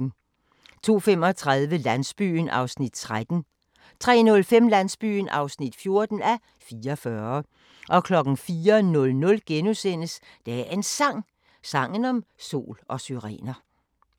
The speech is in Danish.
02:35: Landsbyen (13:44) 03:05: Landsbyen (14:44) 04:00: Dagens Sang: Sangen om sol og syrener *